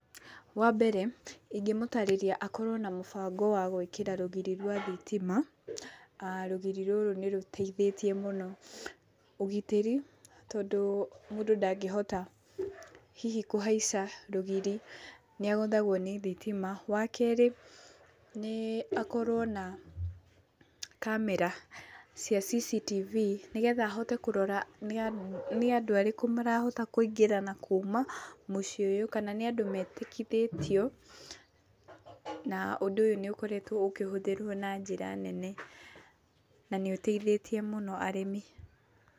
Wambere ingĩmũtarĩria akorwo na mũbango wa gũĩkĩra rũgiri rwa thitima. Rũgiri rũrũ nĩ rũteithĩtie mũno ũgitĩri tondũ mũndũ ndangĩhota hihi kũhaica rũgiri, nĩ agũthagwo nĩ thitima. Wa keerĩ, nĩ akorwo na kamera cia cctv nĩ getha ahote kũrora nĩ andũ arĩkũ marahota kũingĩra na kuuma mũciĩ ũyũ. Kana nĩ andũ metĩkĩrĩtio, na ũndũ ũyũ nĩ ũkoretwo ũkĩrũmĩrĩrwo na njĩra nene na nĩ ũteithĩtie mũno arĩmi.